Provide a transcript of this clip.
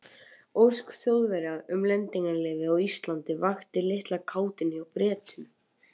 Ósk Þjóðverja um lendingarleyfi á Íslandi vakti litla kátínu hjá Bretum.